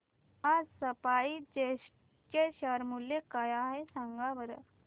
आज SpiceJet चे share मूल्य काय आहे सांगा बरं